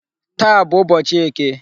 Taa bụ ụbọchị eke.